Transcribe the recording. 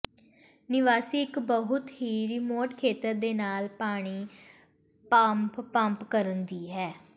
ਨਿਵਾਸੀ ਇੱਕ ਬਹੁਤ ਹੀ ਰਿਮੋਟ ਖੇਤਰ ਦੇ ਨਾਲ ਪਾਣੀ ਪੰਪ ਪੰਪ ਕਰਨ ਦੀ ਹੈ